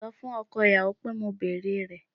Sọ fún ọkọ ìyàwó pé mo bèrè rẹ̀